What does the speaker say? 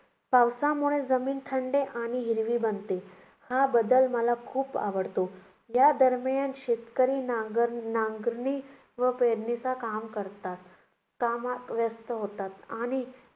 पावसामुळे जमीन थंड आणि हिरवी बनते. हा बदल मला खूप आवडतो. यादरम्यान शेतकरी नांग~ नांगरणी व पेरणीचं काम करतात, कामात व्यस्त होतात. आणि